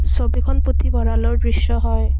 ছবিখন পুথভঁৰালৰ দৃশ্য হয়।